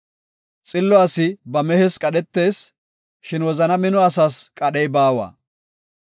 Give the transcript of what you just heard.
Xillo asi ba mehes qadhetees, shin wozana mino asas qadhey baawa.